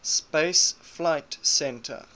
space flight center